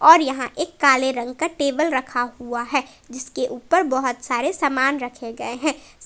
और यहां एक काले रंग का टेबल रखा हुआ है जिसके ऊपर बहोत सारे सामान रखे गए हैं।